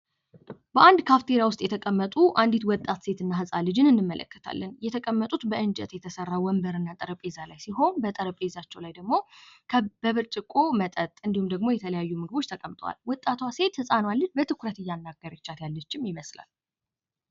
በአንድ ካፍቴሪያ ውስጥ የተቀመጡ አንዲት ወጣት ሴት እና ህጻን ልጅን እንመለከታለን። የተቀመጡት በእንጨት የተሰራ ወንበር እና ጠረንጴዛ ላይ ሲሆን በጠረንጴዛው ላይ ደግሞ በብርጭቆ መጠጥ እንዲሁም ደግሞ የተለያዩ የምግብ አይነቶች ተቀምጠዋል። ወጣቷ ሴት ህጻኑን ልጅ በትኩረት እያናገረቻት ያለ ይመስላል።